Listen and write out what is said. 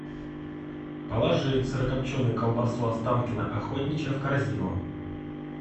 положи сырокопченую колбасу останкино охотничья в корзину